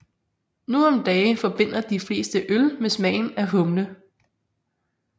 Nu om dage forbinder de fleste øl med smagen af humle